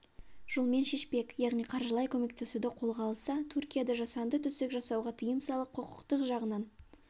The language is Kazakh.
жолмен шешпек яғни қаржылай көмектесуді қолға алса түркияда жасанды түсік жасауға тыйым салып құқықтық жағынан